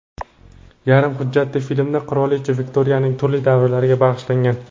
Yarim hujjatli filmda qirolicha Viktoriyaning turli davrlariga bag‘ishlangan.